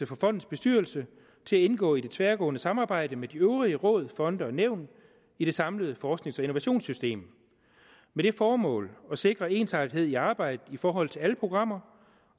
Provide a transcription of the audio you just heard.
for fondens bestyrelse til at indgå i det tværgående samarbejde med de øvrige råd fonde og nævn i det samlede forsknings og innovationssystem med det formål at sikre ensartethed i arbejdet i forhold til alle programmer